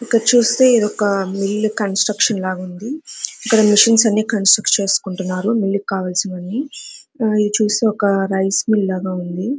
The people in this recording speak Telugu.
ఇక్కడ చుస్తే ఇదొక మిల్ కన్స్ట్రక్షన్ లాగా ఉంది ఇక్కడ మెషన్స్ అన్ని కంస్ట్రక్ట్ చేసుకుంటున్నారు మిల్ కావాల్సిన వన్ని ఈ చూస్తే ఇది ఒక రైస్ మిల్ లాగ ఉంది.